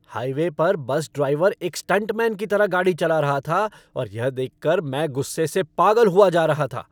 Highway पर bus driver एक stuntman की तरह गाड़ी चला रहा था और यह देख कर मैं गुस्से से पागल हुआ जा रहा था।